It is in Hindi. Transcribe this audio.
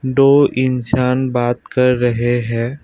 इंसान बात कर रहे हैं।